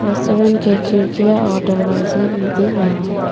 Restaurant के खिड़कियां और दरवाजे भी दिख रहा है।